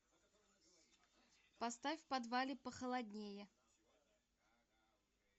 поставь в подвале похолоднее